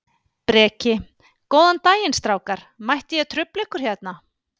Breki: Góðan daginn strákar, mætti ég trufla ykkur hérna?